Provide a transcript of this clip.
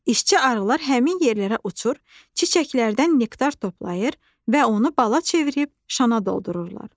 İşçi arılar həmin yerlərə uçur, çiçəklərdən nektar toplayır və onu bala çevirib şana doldururlar.